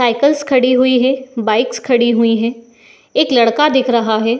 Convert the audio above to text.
cycles खड़ी हुई हैं | बाइक्स खड़ी हुई हैं | एक लड़का दिख रहा है |